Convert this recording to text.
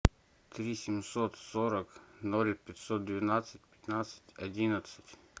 три семьсот сорок ноль пятьсот двенадцать пятнадцать одиннадцать